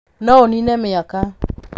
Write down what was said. No ũnine mĩaka.